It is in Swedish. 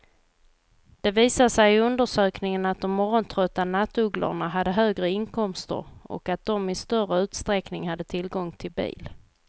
Det visade sig i undersökningen att de morgontrötta nattugglorna hade högre inkomster och att de i större utsträckning hade tillgång till bil.